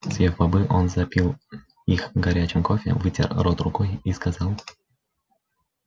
съев бобы он запил их горячим кофе вытер рот рукой и сказал